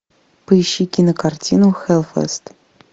поищи кинокартину хэллфест